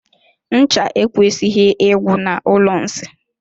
Ncha ekwesighi igwu na ụlọ nsị.